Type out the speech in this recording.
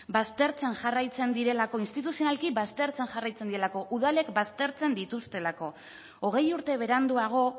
baztertzen jarraitzen direlako instituzionalki baztertzen jarraitzen direlako udalek baztertzen dituztelako hogei urte beranduago